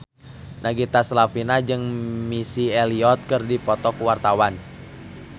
Nagita Slavina jeung Missy Elliott keur dipoto ku wartawan